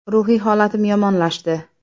Ruhiy holatim yomonlashdi.